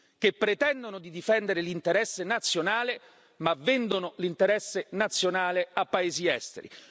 che pretendono di difendere l'interesse nazionale ma vendono l'interesse nazionale a paesi esteri.